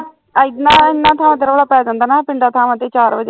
ਏਨਾਂ ਏਨਾਂ ਥਾਵਾਂ ਤੇ ਰੌਲਾ ਪੈ ਜਾਂਦਾ ਨਾ ਪਿੰਡਾਂ ਥਾਵਾਂ ਤੇ ਚਾਰ ਵਜੇ